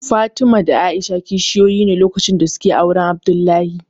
Fatima da A'isha kishiyoyi ne lokacin da suke auren Abdullahi